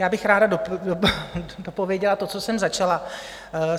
Já bych ráda dopověděla to, co jsem začala.